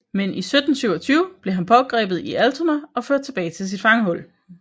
Men i 1727 blev han pågrebet i Altona og ført tilbage til sit fangehul